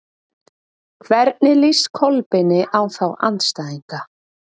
Hvernig líst Kolbeini á þá andstæðinga?